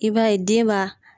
I b'a ye den b'a